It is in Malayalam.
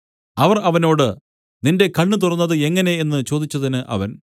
അവർ അവനോട് നിന്റെ കണ്ണ് തുറന്നത് എങ്ങനെ എന്നു ചോദിച്ചതിന് അവൻ